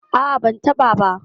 A'a, ban taɓa ba.